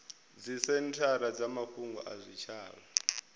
dzisenthara dza mafhungo a zwitshavha